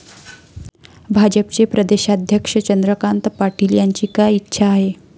भाजपचे प्रदेशाध्यक्ष चंद्रकांत पाटील यांची काय इच्छा आहे?